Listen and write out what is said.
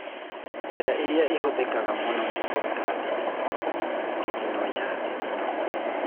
Njĩra ĩrĩa ĩhũthĩkaga mũno nĩ kũruta thithino (thithino ya thithino).